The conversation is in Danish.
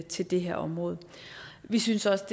til det her område vi synes også